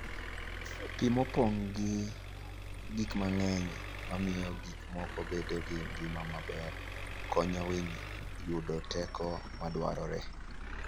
Pi mopong' gi gik mang'eny mamiyo gik moko bedo gi ngima maber, konyo winy yudo teko madwarore.